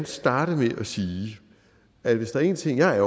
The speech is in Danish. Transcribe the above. starte med at sige at hvis der er en ting jeg